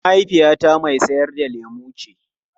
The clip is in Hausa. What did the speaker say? Mahaifiyata mai sayar da lemu ce.